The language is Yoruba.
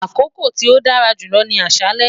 Akoko ti o dara julọ mi ni aṣalẹ